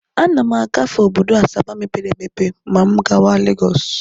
Ana m agafe obodo Asaba mepere emepe ma m gawa Legọs.